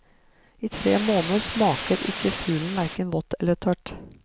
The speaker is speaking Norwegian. I tre måneder smaker ikke fuglen hverken vått eller tørt.